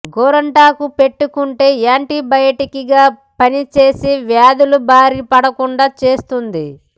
గోరింటాకు పెట్టుకుంటే యాంటీ బయాటిక్గా పనిచేసి వ్యాధుల బారిన పడకుండా చేస్తుంది